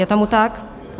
Je tomu tak?